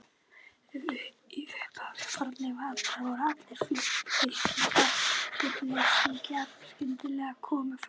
Í upphafi fornlífsaldar voru allar fylkingar hryggleysingjanna skyndilega komnar fram.